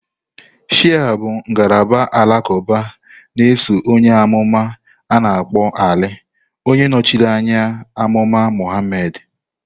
Shia bụ ngalaba alakuba na-eso onye amuma a-na akpo Ali, onye nọchiri anya onye amụma Muhammad.